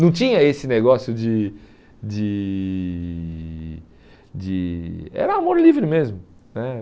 Não tinha esse negócio de de de... Era amor livre mesmo né.